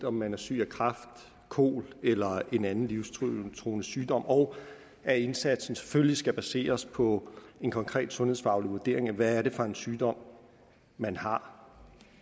om man er syg af kræft kol eller en anden livstruende sygdom og at indsatsen selvfølgelig skal baseres på en konkret sundhedsfaglig vurdering af hvad det er for en sygdom man har